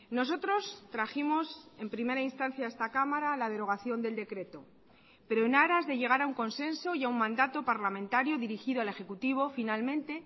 nosotros trajimos en primera instancia a esta cámara la derogación del decreto pero en aras de llegar a un consenso y a un mandato parlamentario dirigido al ejecutivo finalmente